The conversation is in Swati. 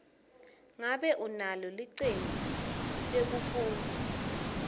ngabe unalo licembu lekufundza